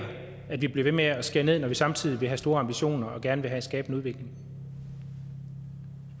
at vi bliver ved med at skære ned når vi samtidig vil have store ambitioner og gerne vil skabe en udvikling